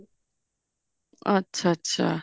ਅੱਛਾ ਅੱਛਾ